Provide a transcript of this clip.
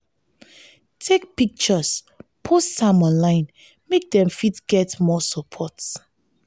take pictures post am online make dem fit get more support